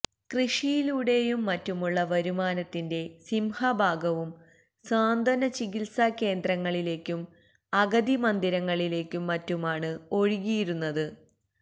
കൃഷിയിലൂടെയും മറ്റുമുള്ള വരുമാനത്തിന്റെ സിംഹഭാഗവും സാന്ത്വന ചികിത്സാ കേന്ദ്രങ്ങളിലേക്കും അഗതി മന്ദിരങ്ങളിലേക്കും മറ്റുമാണ് ഒഴുകിയിരുന്നത്